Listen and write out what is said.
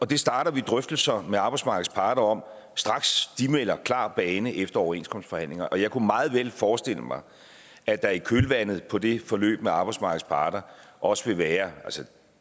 det starter vi drøftelser med arbejdsmarkedets parter om straks de melder klar bane efter overenskomstforhandlingerne og jeg kunne meget vel forestille mig at der i kølvandet på det forløb med arbejdsmarkedets parter også vil være